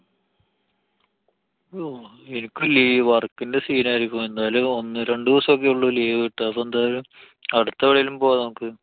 യ്യോ. എനിക്ക് ലീ~ work ന്‍റെ scene ആയിരിക്കും. എന്തായാലും ഒന്നു രണ്ടു ദിവസോക്കെള്ളൂ leave കിട്ടാ. അപ്പൊ എന്തായാലും അടുത്തെവിടെലും പോവാന്‍ നോക്ക്.